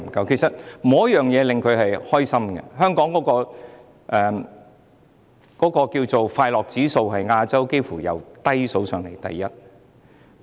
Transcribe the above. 其實，沒有一件事情可以令他們開心，香港的快樂指數幾乎是全亞洲排名最低的。